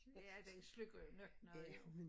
Ja den sluger jo nok noget jo